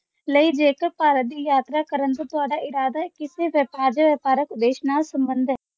ਨਹੀਂ ਜੇਕਰ ਭਾਰਤ ਦੀ ਯਾਤਰਾ ਕਰਨ ਤੋਂ ਤੁਹਾਡਾ ਇਰਾਦਾ ਕਿਸੇ ਵਿਪਾਰ ਜਾ ਵ੍ਯਪਾਰ੍ਕ ਉਦੇਸ਼ ਨਾਲ ਸੰਬੰਧ ਹੈ